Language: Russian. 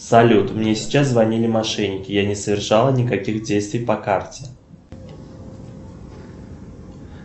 салют мне сейчас звонили мошенники я не совершала никаких действий по карте